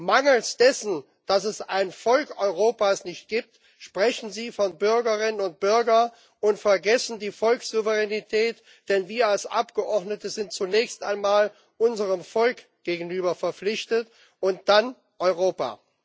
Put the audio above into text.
Mangels dessen, dass es ein Volk Europas nicht gibt, sprechen Sie von Bürgerinnen und Bürgern und vergessen die Volkssouveränität. Denn wir als Abgeordnete sind zunächst einmal unserem Volk gegenüber verpflichtet, und dann Europa.